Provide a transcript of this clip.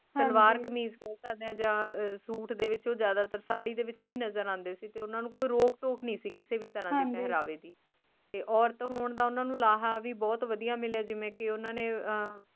ਸਲਵਾਰ ਕਮੀਜ਼ ਕਹਿ ਸਕਦੇ ਹੋ ਜਾਂ ਸੂਟ ਦੇ ਵਿਚ ਉਹ ਜਿਆਦਾਤਰ ਸਾੜੀ ਦੇ ਵਿਚ ਹੀ ਨਜਰ ਆਂਦੇ ਸੀ ਤੇ ਓਹਨਾ ਨੂੰ ਕੋਈ ਰੋਕ ਟੋਕ ਨਹੀਂ ਸੀ ਕਿਸੇ ਵੀ ਤਰ੍ਹਾਂ ਦੇ ਪਹਿਰਾਵੇ ਦੀ ਤੇ ਔਰਤ ਹੋਣ ਦਾ ਉਹਨਾਂ ਨੂੰ ਲਾਹਾ ਵੀ ਬਹੁਤ ਵਧੀਆ ਮਿਲਿਆ ਜਿਵੇਂ ਕੇ ਓਹਨਾ ਨੇ ਅਹ